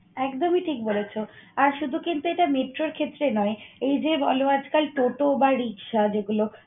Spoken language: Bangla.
একদমই ঠিক বলেছ। আর শুধু কিন্তু এটা metro র ক্ষেত্রে নয়, এই যে বল আজকাল টোটো বা রিকশা যেগুলো